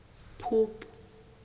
phupu